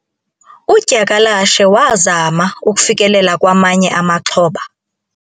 udyakalashe wazama ukufikelela kwamanye amaxhoba